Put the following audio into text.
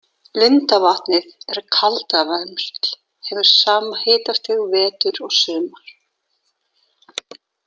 Lindavatnið er kaldavermsl, hefur sama hitastig vetur og sumar.